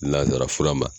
Nanzara fura ma